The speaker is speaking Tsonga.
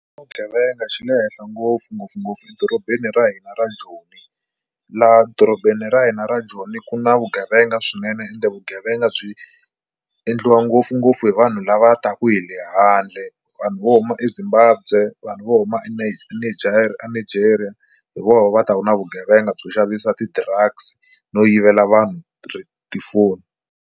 Vugevenga xi le henhla ngopfu ngopfungopfu edorobeni ra hina ra Joni. Laha dorobeni ra hina ra Joni ku na vugevenga swinene ende vugevenga byi endliwa ngopfungopfu hi vanhu lava ta ku hi le handle vanhu vo huma eZimbabwe vanhu vo huma eNigeria hi voho va ta ku na vugevenga byo xavisa ti-drugs no yivela vanhu tifoni.